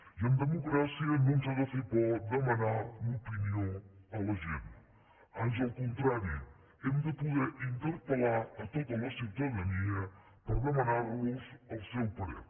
i en democràcia no ens ha de fer por demanar l’opinió a la gent ans al contrari hem de poder interpel·lar tota la ciutadania per demanar los el seu parer